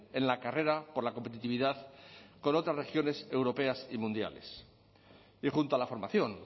en la carrera por la competitividad con otras regiones europeas y mundiales y junto a la formación